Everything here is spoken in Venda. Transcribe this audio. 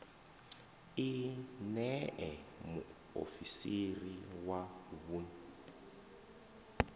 i ṋee muofisiri wa vhuun